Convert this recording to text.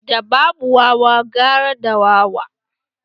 Da babu wawa gara da wawa